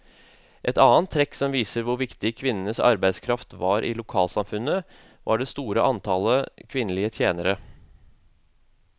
Et annet trekk som viser hvor viktig kvinnenes arbeidskraft var i lokalsamfunnet, var det store antallet kvinnelige tjenere.